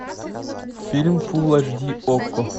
фильм фулл аш ди окко